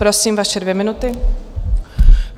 Prosím, vaše dvě minuty.